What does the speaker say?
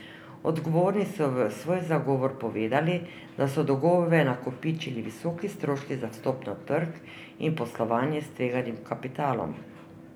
Odgovorni so v svoj zagovor povedali, da so dolgove nakopičili visoki stroški za vstop na trg in poslovanje s tveganim kapitalom.